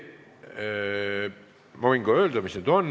Ma võin ka öelda, mis need on.